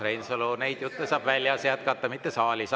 Urmas Reinsalu, neid jutte saab väljas jätkata, mitte saalis.